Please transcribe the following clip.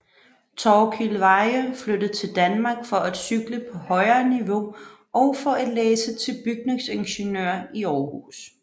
Torkil Veyhe flyttede til Danmark for at cykle på højere niveau og for at læse til bygningsingeniør i Århus